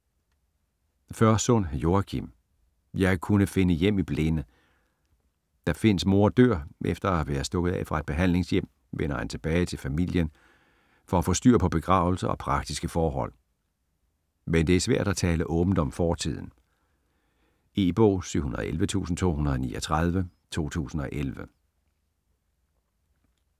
Førsund, Joachim: Jeg kunne finde hjem i blinde Da Finns mor dør efter at være stukket af fra et behandlingshjem, vender han tilbage til familien for at få styr på begravelse og praktiske forhold. Men det er svært at tale åbent om fortiden. E-bog 711239 2011.